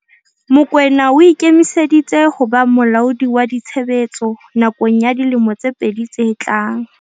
Mokoena o ikemiseditse ho ba molaodi wa ditshebetso nakong ya dilemo tse pedi tse tlang.